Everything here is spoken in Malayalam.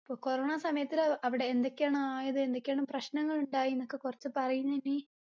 ഇപ്പൊ corona സമയത്റ് അവിടെ എന്തൊക്കെയാണ് ആയത് എന്തൊക്കെയാണ് പ്രശ്നങ്ങൾ ഇണ്ടായിന്നൊക്കെ കൊറച്ച് പറയ് നനി